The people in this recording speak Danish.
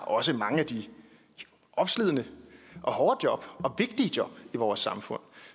også har mange af de opslidende og hårde job og vigtige job i vores samfund